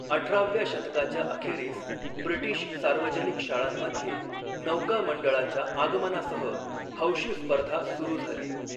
अठराव्या शतकाच्या अखेरीस ब्रिटीश सार्वजनिक शाळांमध्ये 'नौका मंडळा'च्या आगमनासह हौशी स्पर्धा सुरू झाली.